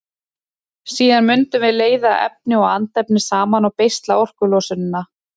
Síðan mundum við leiða efni og andefni saman og beisla orkulosunina.